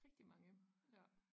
Rigtig mange ja